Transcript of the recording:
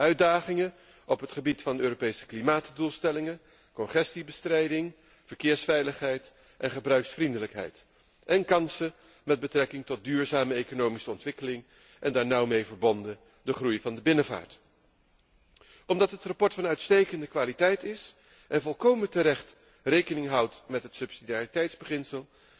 Uitdagingen op het gebied van de Europese klimaatdoelstellingen, congestiebestrijding, verkeersveiligheid en gebruiksvriendelijkheid, en kansen met betrekking tot duurzame economische ontwikkeling en, nauw daarmee verbonden, de groei van de binnenvaart. Omdat het verslag van uitstekende kwaliteit is en volkomen terecht rekening houdt met het subsidiariteitsbeginsel,